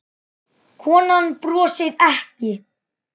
Konan brosir ekki.